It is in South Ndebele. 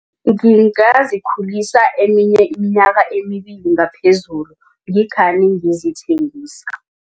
Ngingazikhulisa eminye iminyaka emibili ngaphezulu ngikhani ngizithengisa.